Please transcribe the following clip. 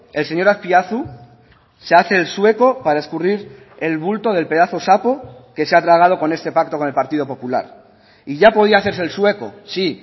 el señor azpiazu se hace el sueco para escurrir el bulto del pedazo saco que se ha tragado con este pacto con el partido popular y ya podía hacerse el sueco sí